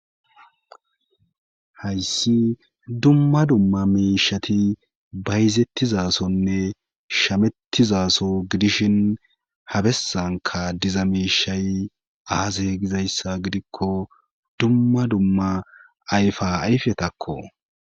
Hayssi dumma dumma meishati bayizettizasonne shamettizaso gidishin habesanka diza meishay aase gizayssa gidikko dumma dumma ayfa ayfetakko.